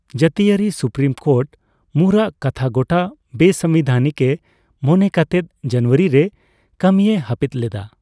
ᱡᱟᱹᱛᱤᱭᱟᱹᱨᱤ supreme court ᱢᱩᱨᱟᱜ ᱠᱟᱛᱷᱟᱜᱚᱴᱟ ᱵᱮᱼᱥᱟᱝᱵᱤᱫᱷᱟᱱᱤᱠᱮ ᱢᱚᱱᱮ ᱠᱟᱛᱮᱫ ᱡᱟᱱᱩᱣᱟᱹᱨᱤ ᱨᱮ ᱠᱟᱹᱢᱤᱭ ᱦᱟᱯᱤᱫ ᱞᱮᱫᱟ ᱾